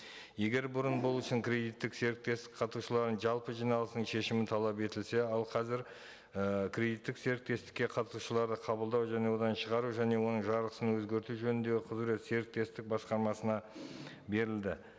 егер бұрын бұл үшін кредиттік серіктестік қатысушыларының жалпы жиналысының шешімі талап етілсе ал қазір і кредиттік серіктестікке қатысушыларды қабылдау және одан шығару және оның жарғысын өзгерту жөніндегі құзырет серіктестік басқармасына берілді